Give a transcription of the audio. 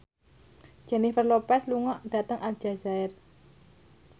Jennifer Lopez lunga dhateng Aljazair